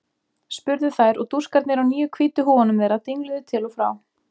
spurðu þær og dúskarnir á nýju hvítu húfunum þeirra dingluðu til og frá.